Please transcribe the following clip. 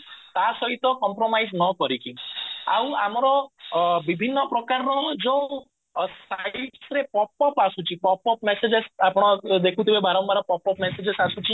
ତା ସହିତ compromise ନ କରିକି ଆଉ ଆମର ବିଭିନ୍ନ ପ୍ରକାରର ଯୋଉ pop up ଆସୁଛି pop up messages ଆପଣ ଦେଖୁଥିବେ ବାରମ୍ବାର pop up messages ଆସୁଛି